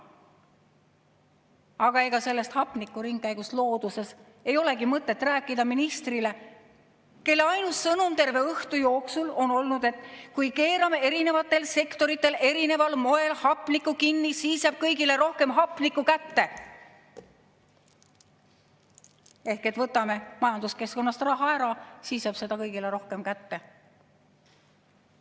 Aga ega sellest hapnikuringkäigust looduses ei olegi mõtet rääkida ministrile, kelle ainus sõnum terve õhtu jooksul on olnud, et kui keerame eri sektoritel erineval moel hapniku kinni, siis saavad kõik rohkem hapnikku kätte – võtame majanduskeskkonnast raha ära, siis jääb seda kõigile rohkem kätte.